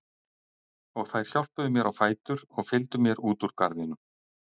Og þær hjálpuðu mér á fætur og fylgdu mér út úr garðinum.